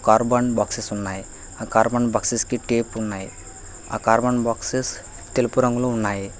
Carbon boxes ఉన్నాయి ఆ carbon boxes కి టేపు ఉన్నాయి ఆ కార్బన్ బాక్స్ తెలుపు రంగులు ఉన్నాయి.